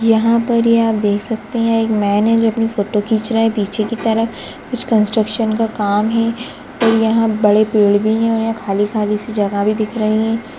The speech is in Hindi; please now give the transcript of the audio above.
यहाँ पर ये आप देख सकते हैं एक मैन है जो अपनी फ़ोटो खींच रहा है पीछे की तरफ कुछ कन्स्ट्रक्शन का काम है और यहाँ बड़े पेड़ भी हैं और यहांँ खाली- खाली सी जगह भी दिख रही है।